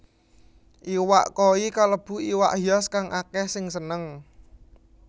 Iwak koi kalebu iwak hias kang akèh sing seneng